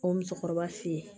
O musokɔrɔba fe ye